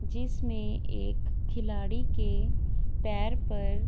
जिसमे एक खिलाड़ी के पैर पर --